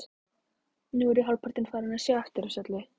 Nú er ég hálfpartinn farinn að sjá eftir þessu öllu.